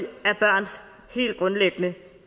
af børns helt grundlæggende